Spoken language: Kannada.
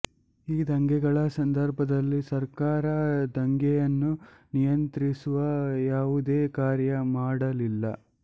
ಈ ದಂಗೆಗಳ ಸಂದರ್ಭದಲ್ಲಿ ಸರ್ಕಾರ ದಂಗೆಯನ್ನು ನಿಯಂತ್ರಿಸುವ ಯಾವುದೇ ಕಾರ್ಯ ಮಾಡಲಿಲ್ಲ